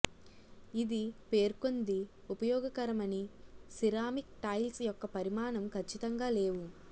ఇది పేర్కొంది ఉపయోగకరమని సిరామిక్ టైల్స్ యొక్క పరిమాణం ఖచ్చితంగా లేవు